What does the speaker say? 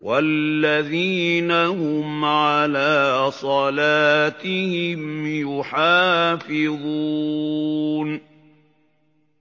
وَالَّذِينَ هُمْ عَلَىٰ صَلَاتِهِمْ يُحَافِظُونَ